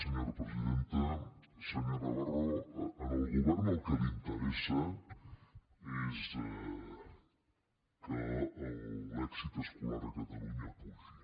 senyor navarro al govern el que li interessa és que l’èxit escolar a catalunya pugi